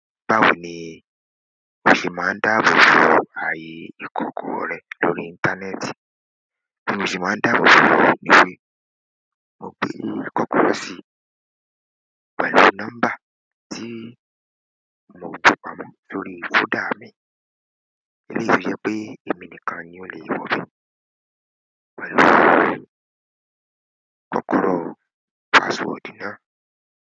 Báwo ni a ṣe máa ń dáàbò bo ààyè ìkọ̀kọ̀ rẹ lórí íńtánẹ́ẹ̀tì? Bí mo ṣe máa ń dáàbò bo òun ni wípé mo gbé kọ́kọ́rọ́ sí pẹ̀lú nọ́mbà tí mo ju pamọ́ sórí fóldà mi. Eleyi fi jẹ pe emi nìkan ni o le ṣe pẹ̀lú password náà.